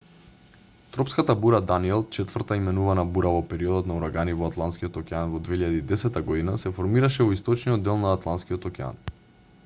тропската бура даниел четврта именувана бура во периодот на урагани во атлантскиот океан во 2010 година се формираше во источниот дел на атлантскиот океан